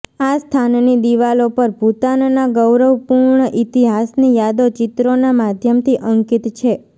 આ સ્થાનની દિવાલો પર ભુતાનના ગૌરવપૂર્ણ ઈતિહાસની યાદો ચિત્રોના માધ્યમથી અંકિત છે